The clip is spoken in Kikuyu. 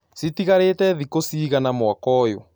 Cĩtĩgarĩte thĩkũ cĩĩgana mwaka ũyũ